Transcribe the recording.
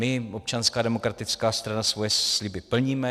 My, Občanská demokratická strana, svoje sliby plníme.